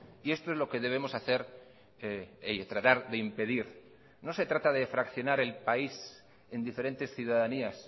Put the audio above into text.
y esto es lo que debemos hacer tratar de impedir no se trata de fraccionar el país en diferentes ciudadanías